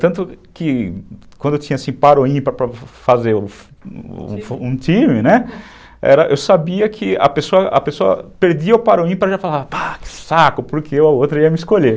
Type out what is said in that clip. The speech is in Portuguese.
Tanto que quando eu tinha par ou ímpar para fazer um time, né, era, eu sabia que a pessoa a pessoa perdia o par ou ímpar, já falava, que saco, porque eu a outra ia me escolher.